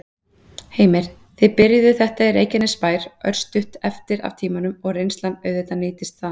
Heimir: Þið byrjuðuð þetta í Reykjanesbær, örstutt eftir af tímanum, og reynslan auðvitað nýtist þaðan?